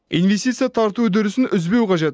инвестиция тарту үдерісін үзбеу қажет